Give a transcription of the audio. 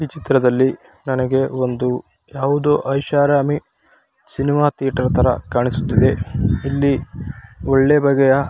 ಈ ಚಿತ್ರದಲ್ಲಿ ನನಗೆ ಒಂದು ಯಾವುದೊ ಐಷಾರಾಮಿ ಸಿನಿಮಾ ಥಿಯೇಟರ್ ತರ ಕಾಣಿಸುತ್ತ ಇದ. ಇಲ್ಲಿ ಒಳ್ಳೆ ಬಗೆಯ --